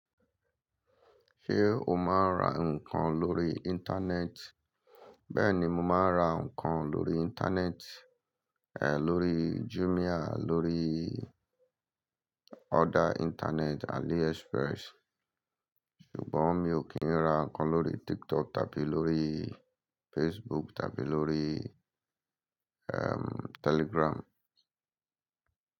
Ṣé o máa ń ra nǹkan lórí Íńtánẹ́ẹ̀tì? Bẹ́ẹ̀ ni, mo máa ń ra nǹkan lórí Íńtánẹ́ẹ̀tì, lórí Jumia, lórí other internet, AliExpress. Ṣùgbọ́n mi ò kí ń ra nǹkan lórí TikTok tàbí lórí Facebook tàbí lórí Telegram.